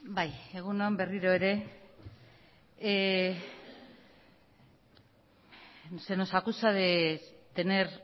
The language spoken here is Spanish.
bai egun on berriro ere se nos acusa de tener